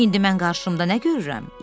İndi mən qarşımda nə görürəm?